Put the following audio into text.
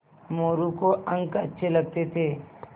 मोरू को अंक अच्छे लगते थे